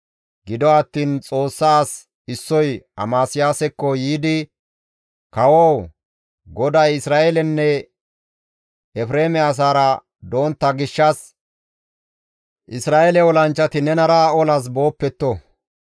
Gido attiin Xoossaa as issoy Amasiyaasekko yiidi «Kawoo! GODAY Isra7eeleranne Efreeme asaara dontta gishshas Isra7eele olanchchati nenara olas booppetto.